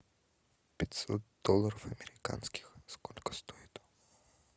пятьсот долларов американских сколько стоит